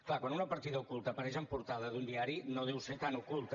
clar quan una partida oculta apareix en portada d’un diari no deu ser tan oculta